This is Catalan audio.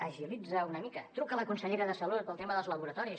agilitzaho una mica truca la consellera de salut pel tema dels laboratoris